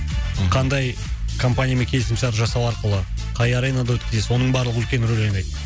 қандай компаниямен келісім шарт жасау арқылы қай аренада өткізесіз оның барлығы үлкен рөл ойнайды